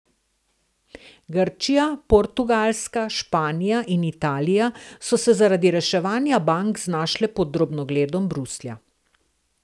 Grčija, Portugalska, Španija in Italija so se zaradi reševanja bank znašle pod drobnogledom Bruslja.